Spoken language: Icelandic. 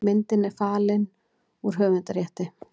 Myndin er fallin úr höfundarrétti.